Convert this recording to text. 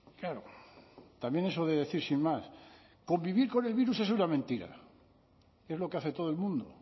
claro también eso de decir sin más convivir con el virus es una mentira es lo que hace todo el mundo